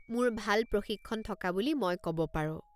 মোৰ ভাল প্ৰশিক্ষণ থকা বুলি মই ক'ব পাৰো।